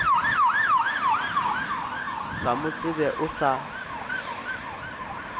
sa mo tsebe o sa